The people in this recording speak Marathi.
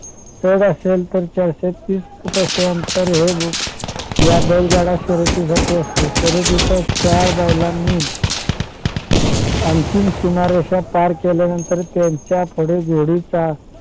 चढ असेल तर चारशे तीस फूट अंतर हे ह्या बैलगाडा शर्यतीसाठी असते. शर्यतीच्या चार बैलांनी अंतिम सीमारेषा पार केल्यानंतर त्यांच्या पुढे घोडीच्या